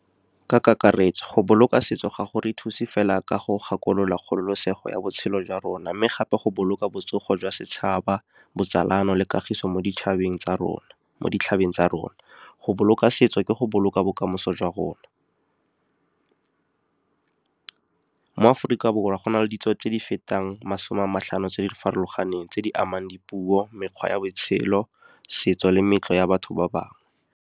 Ka kakaretso, go boloka setso ga go re thuse fela ka go gakolola kgololosego ya botshelo jwa rona, mme gape go boloka botsogo jwa setšhaba, botsalano le kagiso mo ditšhabeng tsa rona . Go boloka setso ke go boloka bokamoso jwa rona. Mo Aforika Borwa, go na le ditso tse di fetang masome a matlhano tse di farologaneng tse di amang dipuo, mekgwa ya botshelo, setso le meetlo ya batho ba bangwe.